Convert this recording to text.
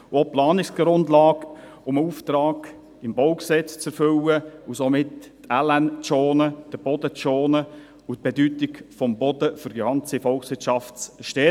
Es geht um die Planungsgrundlage, darum, einen Auftrag im BauG zu erfüllen und somit die landwirtschaftliche Nutzfläche und den Boden zu schonen und die Bedeutung des Bodens für die gesamte Volkswirtschaft zu stärken.